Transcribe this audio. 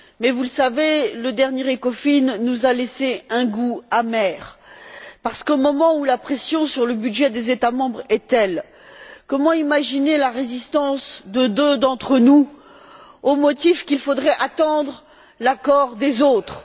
Mais, vous le savez, le dernier Conseil ECOFIN nous a laissé un goût amer parce qu'au moment où la pression sur le budget des États membres est telle, comment imaginer la résistance de deux d'entre nous, au motif qu'il faudrait attendre l'accord des autres.